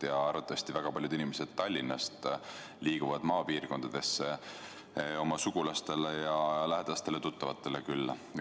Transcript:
Ja arvatavasti väga paljud inimesed Tallinnast sõidavad maapiirkondadesse oma sugulastele ja lähedastele tuttavatele külla.